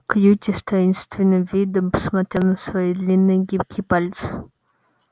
кьюти с таинственным видом посмотрел на свои длинные гибкие пальцы